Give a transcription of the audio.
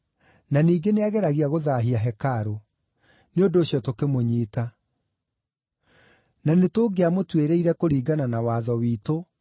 na ningĩ nĩageragia gũthaahia hekarũ; nĩ ũndũ ũcio tũkĩmũnyiita. (Na nĩtũngĩamũtuĩrĩire kũringana na watho witũ.